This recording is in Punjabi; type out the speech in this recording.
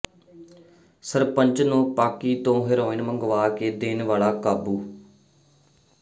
ਸਰਪੰਚ ਨੂੰ ਪਾਕਿ ਤੋਂ ਹੈਰੋਇਨ ਮੰਗਵਾ ਕੇ ਦੇਣ ਵਾਲਾ ਕਾਬੂ